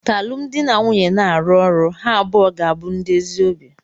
Ka alụmdi na nwunye na-arụ ọrụ, ha abụọ ga-abụ ndị ezi obi.